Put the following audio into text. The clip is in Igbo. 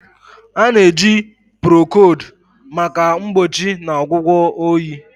A na-eji Procold maka mgbochi na ọgwụgwọ oyi.